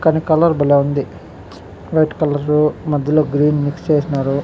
కానీ కలర్ భలే ఉంది. వైట్ కలరు మధ్యలో గ్రీన్ మిక్స్ చేసిన్నారు.